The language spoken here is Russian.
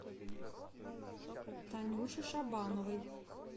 танюше шабановой